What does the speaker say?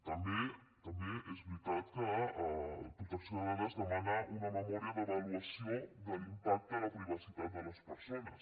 també és veritat que protecció de dades demana una memòria d’avaluació de l’impacte en la privacitat de les persones